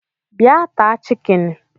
Bịa taa chikini